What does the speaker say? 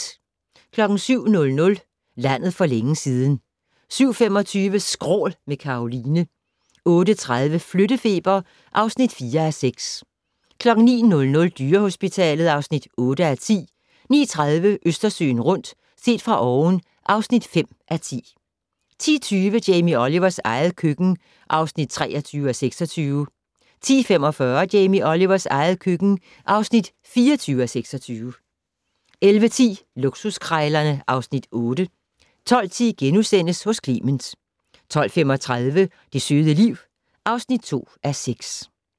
07:00: Landet for længe siden 07:25: Skrål - med Karoline 08:30: Flyttefeber (4:6) 09:00: Dyrehospitalet (8:10) 09:30: Østersøen rundt - set fra oven (5:10) 10:20: Jamie Olivers eget køkken (23:26) 10:45: Jamie Olivers eget køkken (24:26) 11:10: Luksuskrejlerne (Afs. 8) 12:10: Hos Clement * 12:35: Det søde liv (2:6)